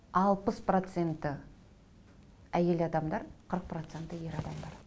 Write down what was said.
алпыс проценті әйел адамдар қырық проценті ер адамдар